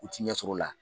U ti ɲɛsɔrɔ o la